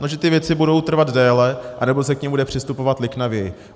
No že ty věci budou trvat déle, anebo se k nim bude přistupovat liknavěji.